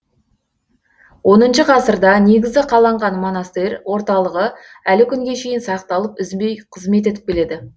оныншы ғасырда негізі қаланған монастыр орталығы әлі күнге шейін сақталып үзбей қызмет етіп келеді